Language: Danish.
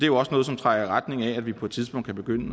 jo også noget som trækker i retning af at vi på et tidspunkt kan begynde